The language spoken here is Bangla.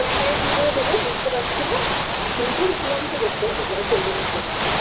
profile কি করে দেবো বুঝতে পারছি না কিন্তু কিছ না কিছু করতে হবে life -এগোনোর জন্য